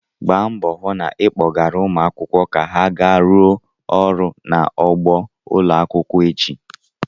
Gba mbọ hụ na ị kpọgara ụmụ akwụkwọ ka ha gaa rụọ ọrụ n'ugbo ụlọ akwụkwọ echi!